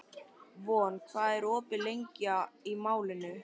Von, hvað er opið lengi í Málinu?